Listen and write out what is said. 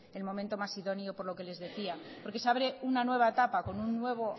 el momento idónea por lo que les decía porque se abre una nueva etapa con un nuevo